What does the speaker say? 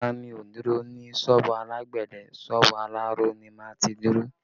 Rárá, mi ò dúró ní sọ́ọ̀bù alágbẹ̀dẹ, sọ́ọ̀bù aláró ni máa ti dúró